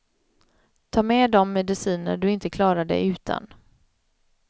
Ta med de mediciner du inte klarar dig utan.